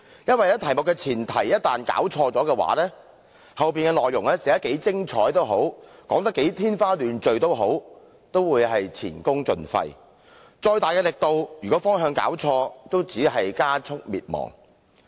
因為一旦弄錯題目的前提，無論內容寫得如何精彩，說得如何天花亂墜，也會前功盡廢；即使力度再大，如果弄錯方向，也只會加速滅亡。